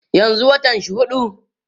yanzun watan shi huɗu